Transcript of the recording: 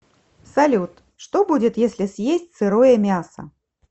салют что будет если съесть сырое мясо